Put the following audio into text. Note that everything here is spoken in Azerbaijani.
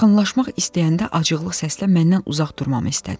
Yaxınlaşmaq istəyəndə acıqlı səslə məndən uzaq durmamı istədi.